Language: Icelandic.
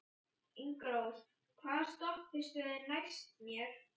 Ingirós, hvaða stoppistöð er næst mér?